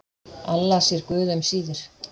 Alla sér guð um síðir.